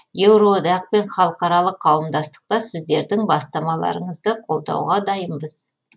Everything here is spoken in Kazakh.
еуроодақ пен халықаралық қауымдастықта сіздердің бастамаларыңызды қолдауға дайынбыз